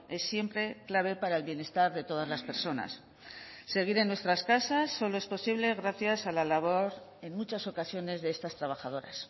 es siempre clave para el bienestar de todas las personas seguir en nuestras casas solo es posible gracias a la labor en muchas ocasiones de estas trabajadoras